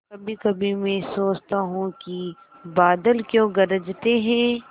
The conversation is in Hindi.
कभीकभी मैं सोचता हूँ कि बादल क्यों गरजते हैं